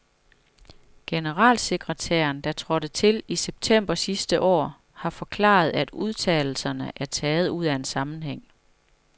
Generalsekretæren, der trådte til i september sidste år, har forklaret, at udtalelserne er taget ud af en sammenhæng.